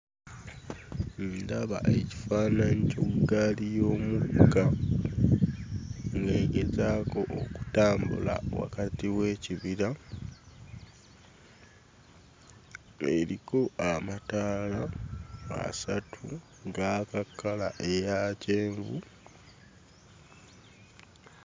Ndaba ekifaananyi ky'eggaali y'omukka ng'egezaako okutambula wakati w'ekibira eriko amataala asatu, gaaka kkala eya kyenvu,